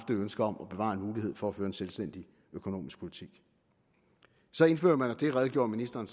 et ønske om at bevare en mulighed for at føre en selvstændig økonomisk politik så indfører man det og det redegjorde ministeren